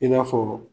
I n'a fɔ